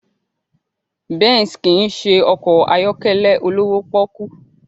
Benz kì í ṣe ọkọ̀ ayọ́kẹ́lẹ́ olówó pọ́ọ́kú